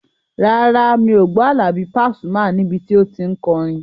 Rárá, mi ò gbọ́ Àlàbí Pasuma níbi tí o tí n kọrin